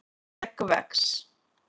skegg vex